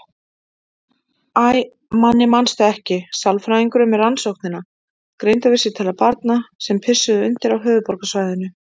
Æ, Manni manstu ekki, sálfræðingurinn með Rannsóknina: Greindarvísitala barna sem pissuðu undir á höfuðborgarsvæðinu.